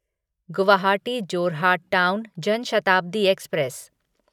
Guwahati Jorhat town Jan Shatabdi express